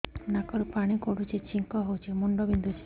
ନାକରୁ ପାଣି ଗଡୁଛି ଛିଙ୍କ ହଉଚି ମୁଣ୍ଡ ବିନ୍ଧୁଛି